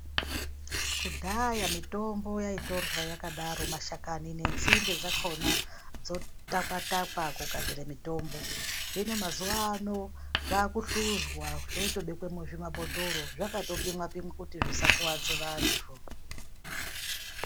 Kudhaya mitombo yaitorwa yakadaro mashakani nenzinde dzakona dzotakwatakwa kugadzire mitombo hino mazuwa ano zvaakuhluzwa zvotobekwe muzvimabhotoro zvakatopimwa kuti zvisakuwadze vantu.